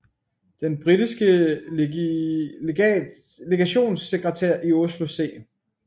Den britiske legationssekretær i Oslo C